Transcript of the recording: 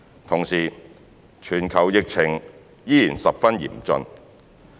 同時，全球疫情依然十分嚴峻。